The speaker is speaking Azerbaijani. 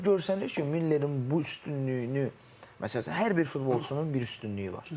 Yəni görsənir ki, Millerin bu üstünlüyünü, məsəl üçün hər bir futbolçunun bir üstünlüyü var.